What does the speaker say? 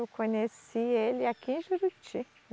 Eu conheci ele aqui em Juruti.